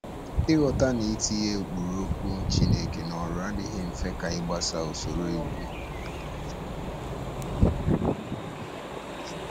Ịghọta na itinye ụkpụrụ Okwu Chineke n’ọrụ adịghị mfe ka ịgbaso usoro iwu.